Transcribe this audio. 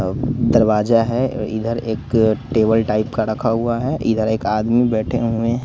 दरवाजा है इधर एक अ टेबल टाइप का रखा हुआ है इधर एक आदमी बैठे हुएं हैं।